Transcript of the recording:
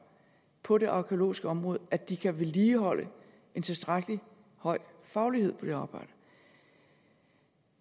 på det arkæologiske område at de kan vedligeholde en tilstrækkelig høj faglighed i det arbejde